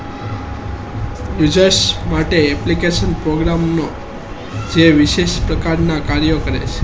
users માટે application program નો એ વિશેષ પ્રકાર ના કાર્ય કરે છે